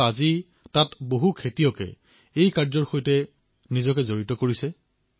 কিন্তু আজিকালি তাত বহু কৃষকে এই খেতিত নামি পৰিছে